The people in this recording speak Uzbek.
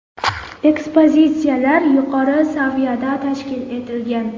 Ekspozitsiyalar yuqori saviyada tashkil etilgan.